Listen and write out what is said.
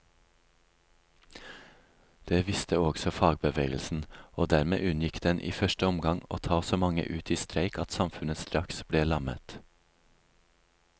Det visste også fagbevegelsen, og dermed unngikk den i første omgang å ta så mange ut i streik at samfunnet straks ble lammet.